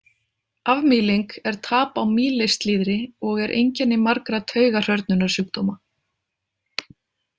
Afmýling er tap á mýlisslíðri og er einkenni margra taugahrörnunarsjúkdóma.